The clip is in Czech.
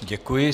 Děkuji.